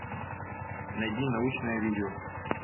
найди научное видео